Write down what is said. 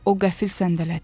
O qəfil səndələdi.